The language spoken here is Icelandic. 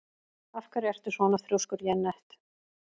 Af hverju ertu svona þrjóskur, Jenetta?